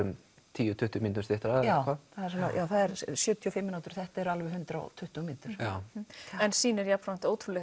tíu tuttugu mínútum styttra já það er sjötíu og fimm mínútur en þetta er alveg hundrað og tuttugu mínútur en sýnir jafnframt ótrúlegt